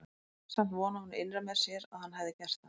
Samt vonaði hún innra með sér að hann hefði gert það.